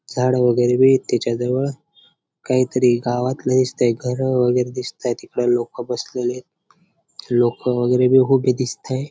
झाडं वगैरे बी आहेत त्याच्याजवळ काहीतरी गावातले दिसतय घर वगैरे दिसताय तिकडे लोक बसलेले आहेत लोक वगैरे बी हुबे दिसताय.